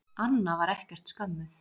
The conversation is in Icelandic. Anna var ekkert skömmuð.